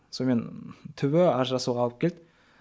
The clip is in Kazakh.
сонымен түбі ажырасуға алып келді